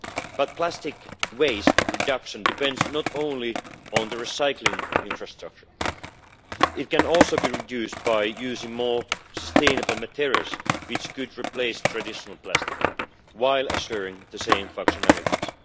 But plastic waste reduction depends not only on the recycling infrastructure, it can also be reduced by using more sustainable materials which could replace traditional plastic while offering the same functionalities.